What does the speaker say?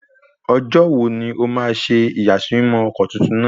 Ọjọ́ wo ni ó ma ṣe ìyàsímímọ́ ọkọ̀ titun náà?